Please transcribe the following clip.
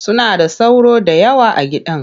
Suna da sauro da yawa a gidan